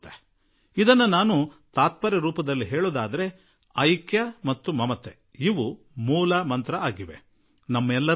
ಅದನ್ನು ಸಂಕ್ಷಿಪ್ತವಾಗಿ ಕೆಲವೇ ಶಬ್ದಗಳಲ್ಲಿ ಹೇಳಬೇಕಾದರೆ ಅದು ಏಕತೆ ಮತ್ತು ಅನುಕಂಪ ಎಂದು ನಾನು ಹೇಳುವೆ